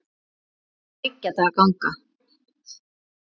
Það er þriggja daga ganga.